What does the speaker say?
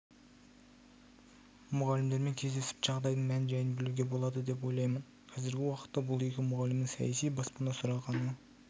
мұғалімдермен кездесіп жағдайдың мән-жайын білуге болады деп ойлаймын қазіргі уақытта бұл екі мұғалімнің саяси баспана сұрағаны